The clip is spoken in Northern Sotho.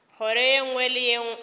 kgoro ye nngwe le ye